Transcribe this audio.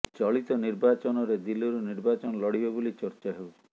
ଚଳିତ ନିର୍ବାଚନରେ ଦିଲ୍ଲୀରୁ ନିର୍ବାଚନ ଲଢ଼ିବେ ବୋଲି ଚର୍ଚ୍ଚା ହେଉଛି